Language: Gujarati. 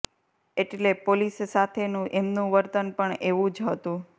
એટલે પોલીસ સાથેનું એમનું વર્તન પણ એવું જ હતું